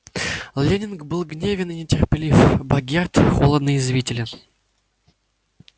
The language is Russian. лэннинг был гневен и нетерпелив богерт холодно язвителен